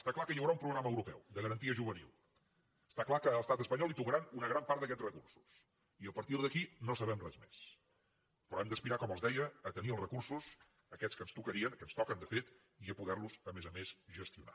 està clar que hi haurà un programa europeu de garantia juvenil està clar que a l’estat espanyol li tocarà una gran part d’aquests recursos i a partir d’aquí no sabem res més però hem d’aspirar com els deia a tenir els recursos aquests que ens tocarien que ens toquen de fet i a poder los a més a més gestionar